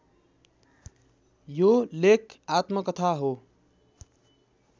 यो लेख आत्मकथा हो